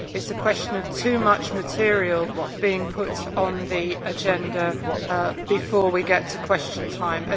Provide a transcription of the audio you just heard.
It is a question of too much material being put on the agenda before we get to Question Time.